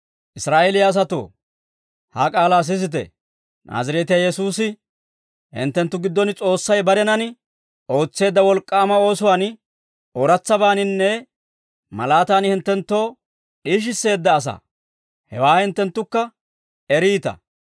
«Israa'eeliyaa asatoo, ha k'aalaa sisite; Naazireetiyaa Yesuusi hinttenttu giddon S'oossay barenan ootseedda wolk'k'aama oosuwaan, ooratsabaaninne malaatan hinttenttoo d'iishisseedda asaa; hewaa hinttenttukka eriita.